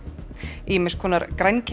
ýmiss konar